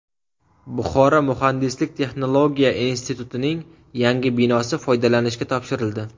Buxoro muhandislik-texnologiya institutining yangi binosi foydalanishga topshirildi.